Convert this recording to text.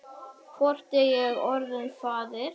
Hvort er ég orðinn faðir?